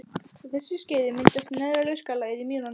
Á þessu skeiði myndaðist neðra lurkalagið í mýrunum.